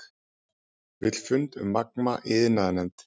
Vill fund um Magma í iðnaðarnefnd